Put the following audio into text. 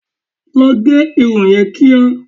Lọ gẹ irun yẹn kíá!